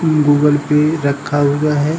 Google पे रखा हुआ है।